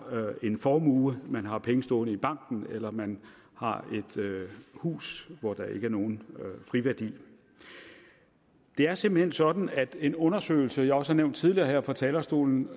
formue man har penge stående i banken eller man har et hus hvor der ikke er nogen friværdi det er simpelt hen sådan at en undersøgelse som jeg også har nævnt tidligere her fra talerstolen